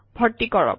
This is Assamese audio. ভৰ্তি কৰক